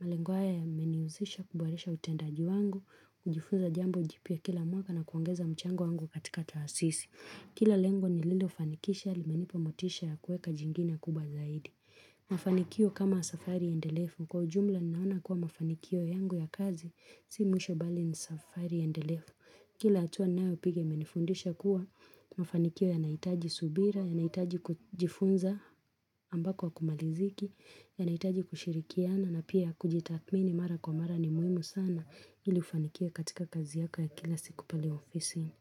malengo haya yameniusisha kuboresha utendaji wangu kujifunza jambo jipya kila mwaka na kuongeza mchango wangu katika taasisi Kila lengo nililofanikisha limenipa motisha ya kuweka jingine kubwa zaidi Mafanikio kama safari endelefu Kwa ujumla ninaona kuwa mafanikio yangu ya kazi Si mwisho bali ni safari endelefu Kila hatua ninayo piga imenifundisha kuwa Mafanikio yanaitaji subira yanaitaji kujifunza ambako akumaliziki yanaitaji kushirikiana na pia kujitaakmini mara kwa mara ni muhimu sana ili ufanikiwe katika kazi yako ya kila siku pale ofisini.